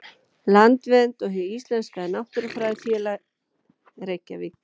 Landvernd og Hið íslenska náttúrufræðifélag, Reykjavík.